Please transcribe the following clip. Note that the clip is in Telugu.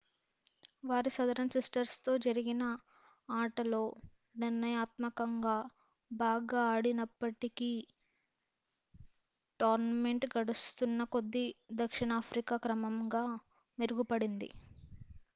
వారి southern sistersతో జరిగిన ఆటలో నిర్ణయాత్మకంగా బాగా ఆడనప్పటికీ టోర్నమెంట్ గడుస్తున్న కొద్ది దక్షిణాఫ్రికా క్రమంగా మెరుగుపడింది